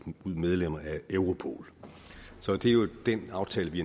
ud medlem af europol så det er jo den aftale vi